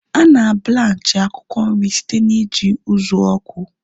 Ana blanchi akwụkwọ nri site na iji ụzụ ọkụ